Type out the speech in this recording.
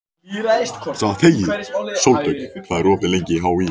Sóldögg, hvað er opið lengi í HÍ?